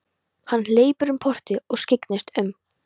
Hann hleypur um portið og skyggnist um.